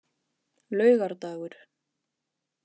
laugardagur